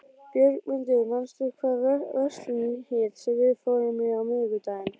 Björgmundur, manstu hvað verslunin hét sem við fórum í á miðvikudaginn?